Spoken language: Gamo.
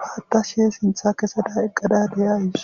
paatta she sintha keseda eqqada deyays.